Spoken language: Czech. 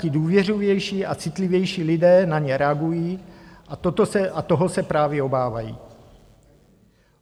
Ti důvěřivější a citlivější lidé na ně reagují a toho se právě obávají.